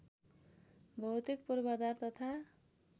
भौतिक पूर्वाधार तथा